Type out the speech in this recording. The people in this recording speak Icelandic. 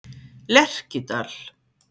Lerkidal